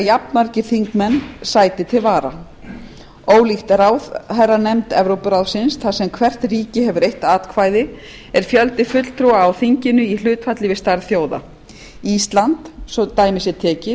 jafnmargir þingmenn sæti til vara ólíkt ráðherranefnd evrópuráðsins þar sem hvert ríki hefur eitt atkvæði er fjöldi fulltrúa á þinginu í hlutfalli við stærð þjóða ísland hefur svo dæmi sé tekið